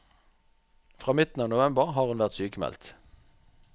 Fra midten av november har hun vært sykmeldt.